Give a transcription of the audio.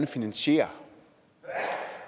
finansiere